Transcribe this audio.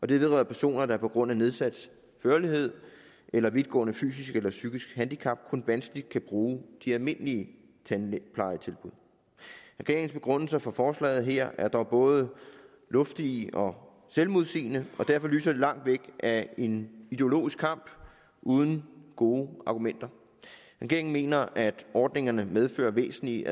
det vedrører personer der på grund af nedsat førlighed eller vidtgående fysisk eller psykisk handicap kun vanskeligt kan bruge de almindelige tandplejetilbud regeringens begrundelser for forslaget her er dog både luftige og selvmodsigende og derfor lyser det langt væk af en ideologisk kamp uden gode argumenter regeringen mener at ordningerne medfører væsentlige